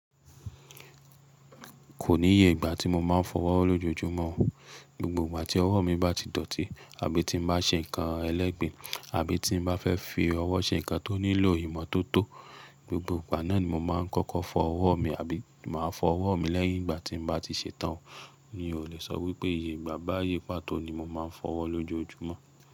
Kò níye ìgbà tí mo máa ń fọwọ́ lójoojúmọ́. Gbogbo ìgbà tí ọwọ́ mi bá ti dọ̀tí, àbí tí n bá ṣe nǹkan ẹlẹ́gbìn, àbí tí n bá fẹ́ fi ọwọ́ ṣe nǹkan tó nílò ìmọ́tótó, gbogbo ìgbà náà ni mo máa ń kọ́kọ́ fọ ọwọ́ mi, àbí máa fọ ọwọ́ mi lẹ́yìn ìgbà tí n bá ti ṣetán. Mì óò lè sọ wípé ìyè ìgbà báyi pàtó ni mo máa ń fọwọ́ lójoojúmọ́